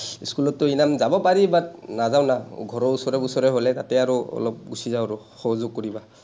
স্কুলতটো আমি যাব পাৰি, but নাযাওঁ না, ঘৰৰ ওচৰে বুচৰে হ’লে তাতে আৰু অলপ গুছি যাওঁ আৰু সহযোগ কৰিবা।